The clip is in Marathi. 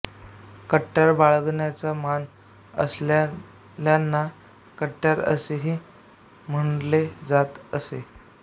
कट्यार बाळगण्याचा मान असलेल्यांना कट्यारे असे ही म्हंटले जात असे